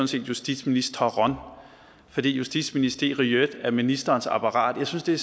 set justitsministeren fordi justitsministeriet er ministerens apparat jeg synes det